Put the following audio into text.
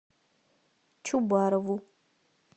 чубарову